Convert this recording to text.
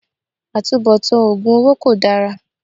Àtubọ̀tán oògùn owó kol dára